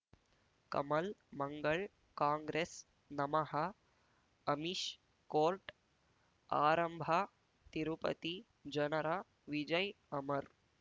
Kamal Mangal Congress ನಮಃ Amish court ಆರಂಭ ತಿರುಪತಿ ಜನರ ವಿಜಯ್ ಅಮರ್